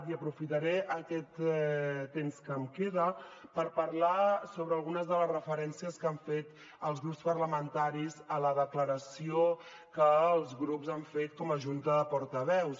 i aprofitaré aquest temps que em queda per parlar sobre algunes de les referències que han fet els grups parlamentaris a la declaració que els grups han fet com a junta de portaveus